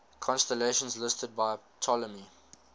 constellations listed by ptolemy